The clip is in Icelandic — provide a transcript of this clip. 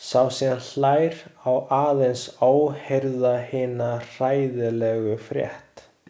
Sá sem hlær á aðeins óheyrða hina hræðilegu frétt.